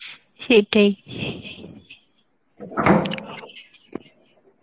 সেটাই